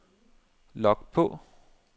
log på